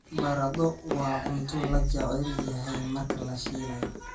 Baradho waa cunto la jecel yahay marka la shiilayo.